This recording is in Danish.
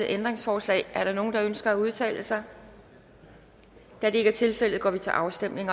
ændringsforslag er der nogen der ønsker at udtale sig da det ikke er tilfældet går vi til afstemning